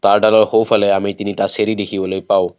তাঁৰ ডালৰ সোঁ ফালে আমি তিনিটা চিৰি দেখিবলৈ পাওঁ।